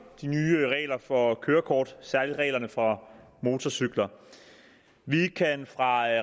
de nye regler for kørekort særlig reglerne for motorcykler vi kan fra